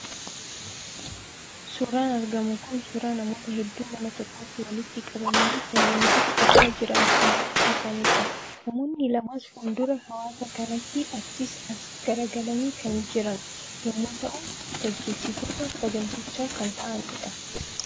Suuraan argamu kun suuraa namoota hedduu mana tokkotti walitti qabamanii kan leenjii fudhachaa jiran kan fakkaatanidha. Namoonni lamas fuul-dura hawaasa kanaatiin achii as garagalanii kan jiran yemmuu ta'u, gaggeessitoota sagantichaa kan ta'anidha.